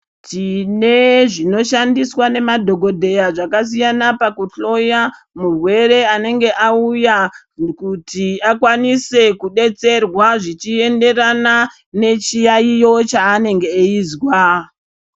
Tine zvinoshandiswa nemadhokodheya zvakasiyana pakuhloya murwere anenge auya kuti akwanise kudetserwa zvichienderana nechiyayiyo chaanege eizwa.